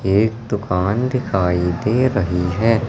एक दुकान दिखाई दे रही है।